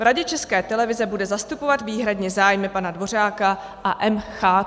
V Radě České televize bude zastupovat výhradně zájmy pana Dvořáka a M.CH."